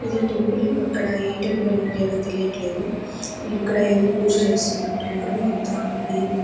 ఇది టెంపుల్ అక్కడ ఏ టెంపుల్ అని క్లియర్ తెలియట్లేదు ఇక్కడ ఏదో పూజ చేస్తునట్టు ఉన్నారు అంత బియ్యం --